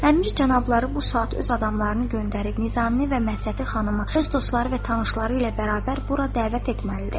Əmir cənabları bu saat öz adamlarını göndərib Nizami və Məhsəti xanımı, öz dostları və tanışları ilə bərabər bura dəvət etməlidir.